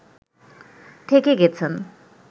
থেকে গেছেন